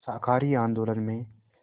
शाकाहारी आंदोलन में